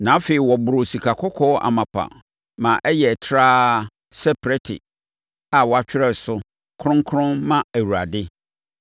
Na afei, wɔboroo sikakɔkɔɔ amapa ma ɛyɛɛ trawa sɛ prɛte a wɔatwerɛ so: Kronkron Ma Awurade.